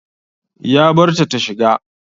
Ya barta tashiga.